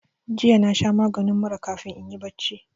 Jiya na sha maginin mura kafin inyi barci